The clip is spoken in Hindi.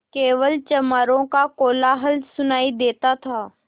केवल चमारों का कोलाहल सुनायी देता था